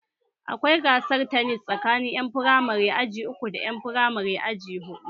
Akwai gasar tanis tsakanin ƴan firamare aji uku da ƴan firamare aji huɗu